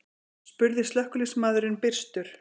spurði slökkviliðsmaðurinn byrstur.